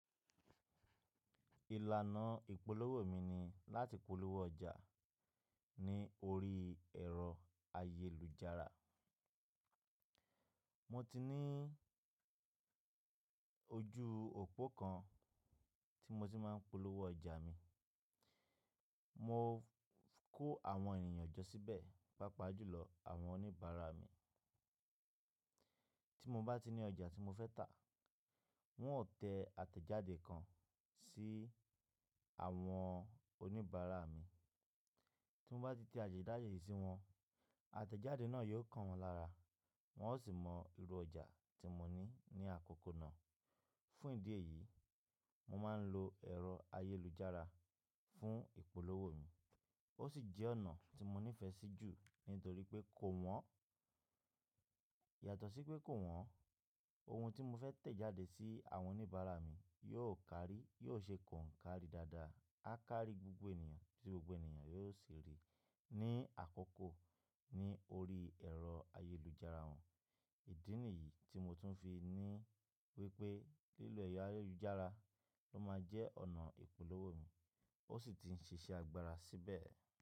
Ìlànà ìpolówó mi ni láti polówó ọjà ní orí ẹ̀rọ ayélujára. Mo ti ní ojú òpó kan tí mo ti máa ń polówó ọjà mi. Mo kó àwọn ènìyàn jọ síbẹ̀, pàápàá jùlọ àwọn oníbàárà mi. Tí mo bá ti ní ọjà tí mo fẹ́ tà, wọn ó tẹ àtẹ̀jáde kan sí àwọn oníbàárà mi. Tí mo bá ti tẹ àtẹ̀jáde yìí sí wọn, àtẹ̀jáde náà yóò kàn wọ́n lára, wọn ó sì mọ irú ọjà tí mo ní ní àkókò náà. Fún ìdí èyí, mo máa ń lo ẹ̀rọ ayélujára fún ìpolówó mi. Ó sì jẹ́ ọ̀nà tí mo nífẹ̀ẹ́ sí jù nítorí pé kò wọ́n. Yàtọ̀ sí pé kò wọ́n, ohun tí mo fẹ́ tẹ̀ jáde sí àwọn oníbàárà mi yóò kárí, yóò ṣe kọ̀ńkárí dáadáa, á kárí gbogbo ènìyàn tí gbogbo ènìyàn yóò sì rí i ní àkókò ní orí ẹ̀rọ ayélujára wọn. Ìdí nìyí tí mo tún fi ní wípé lílọ ero ayélujára ló máa jẹ́ ọ̀nà ìpolówó mi, ó sì ti ń ṣiṣẹ́ agbára síbẹ̀